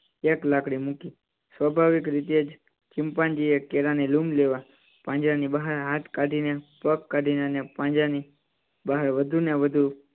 એક લાકડી મૂકી. સ્વાભાવિક રીતે જ ચિંપાંજી એ કેળાં ની લૂમ લેવા પાંજરા ની બહાર હાથ કાઢીને પગ કાઢીને અને પાંજરા ની બહાર વધુ ને વધુ